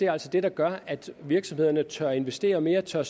altså det der gør at virksomhederne tør investere mere og tør